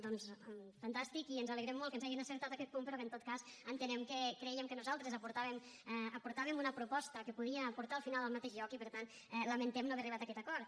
doncs fantàstic i ens alegrem molt que ens hagin acceptat aquest punt però en tot cas entenem crèiem que nosaltres aportàvem una proposta que podia portar al final al mateix lloc i per tant lamentem no haver arribat a aquest acord